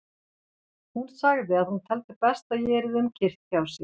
Hún sagði að hún teldi best að ég yrði um kyrrt hjá sér.